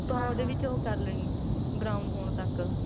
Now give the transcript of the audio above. ਉਹਦੇ ਵਿੱਚ ਹ ਕਰ ਲੇਨੀ brown ਹੋਣ ਤੱਕ